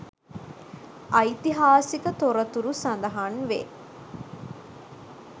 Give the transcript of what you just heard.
ඓතිහාසික තොරතුරු සඳහන් වේ.